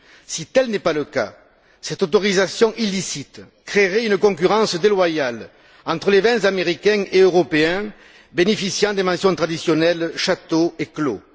Si tel n'est pas le cas, cette autorisation illicite créerait une concurrence déloyale entre les vins américains et européens bénéficiant des mentions traditionnelles Château et Clos.